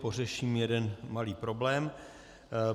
Pořeším jeden malý problém.